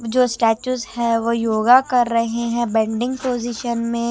जो वो योगा कर रहे हैं बेंडिंग पोजीशन में।